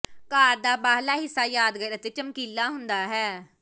ਕਾਰ ਦਾ ਬਾਹਰਲਾ ਹਿੱਸਾ ਯਾਦਗਾਰ ਅਤੇ ਚਮਕੀਲਾ ਹੁੰਦਾ ਹੈ